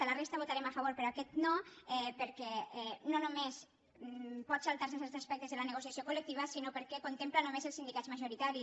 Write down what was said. en la resta hi votarem a favor però en aquest no perquè no només pot saltar·se certs aspectes de la negociació coltempla només els sindicats majoritaris